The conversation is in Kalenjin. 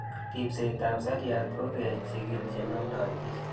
Ripset ab seriat ko kechig'il che namdoi pich